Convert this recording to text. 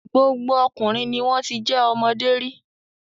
Gbogbo ọkùnrin ni wọ́n ti jẹ́ ọmọdé rí.